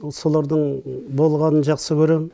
солардың болғанын жақсы көрем